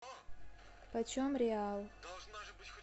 почем реал